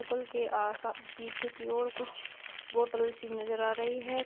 पल के आशा पीछे की और कुछ बॉटल सी नजर आ रही है।